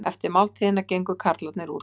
Eftir máltíðina gengu karlarnir út.